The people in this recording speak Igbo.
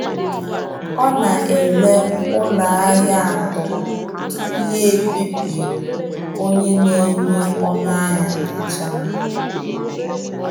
Ọ na-ele ụlọ ahịa atọ tupu ya ekpebi onye na-enye ọnụ ahịa kacha mma.